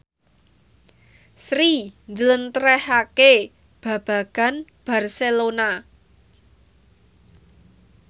Sri njlentrehake babagan Barcelona